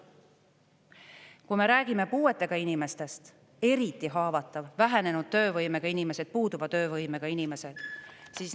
Kui me räägime puuetega inimestest, eriti haavatavatest, vähenenud töövõimega inimestest, puuduva töövõimega inimestest, siis …